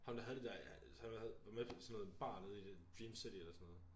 Ham der havde det der som der havde var med sådan noget bare nede i dream city eller sådan noget